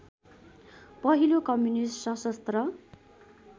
पहिलो कम्युनिस्ट सशस्त्र